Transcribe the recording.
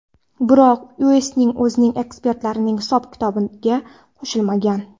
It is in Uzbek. Biroq Uestning o‘zi ekspertlarning hisob-kitobiga qo‘shilmagan.